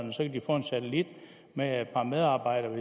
og så kan de få en satellit med et par medarbejdere